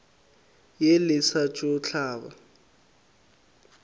ye le sa tšo hlaba